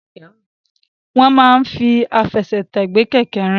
Wọ́n máa ń fi àfẹsẹ̀tẹ̀ gbé kẹ̀kẹ́ rìn.